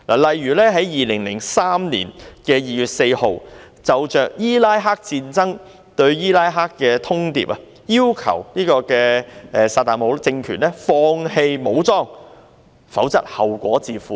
例如在2003年2月4日，就伊拉克戰爭對伊拉克發出通牒，要求薩達姆政權放棄武裝，否則後果自負。